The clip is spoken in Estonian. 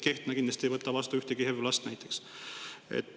Kehtna näiteks kindlasti ei võta vastu ühtegi HEV last.